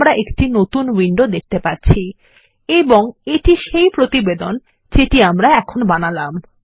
আমরা এখন একটি নতুন উইন্ডো দেখতে পাচ্ছি এবং এটি সেই প্রতিবেদন যেটি আমরা এখন বানালাম